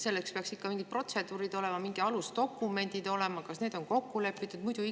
Selleks peaks ikka mingid protseduurid olema, mingid alusdokumendid – kas need on kokku lepitud?